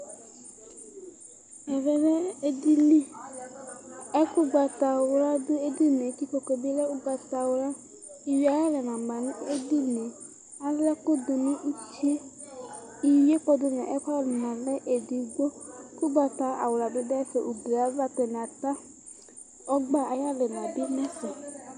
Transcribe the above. Ɛvɛlɛ edini ɛkʋ ʋgbatawla du edinie kʋ ikpokʋe bilɛ ʋgbatawla ala ɛkʋ dʋnʋ utie ivi dʋnʋ ɛkʋwani lɛ bedigbo ʋgbata awla bi dʋ ayʋ ɛtʋ ata ɔgba ayʋ alɛna tʋ nʋ ugli ɛtʋ